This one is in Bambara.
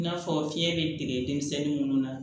I n'a fɔ fiɲɛ be dege denmisɛnnin munnu na